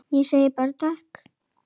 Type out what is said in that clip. Ég segi bara takk.